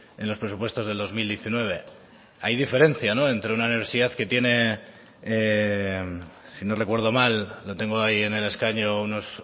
en los presupuestos del dos mil diecinueve hay diferencia entre una universidad que tiene si no recuerdo mal lo tengo ahí en el escaño unos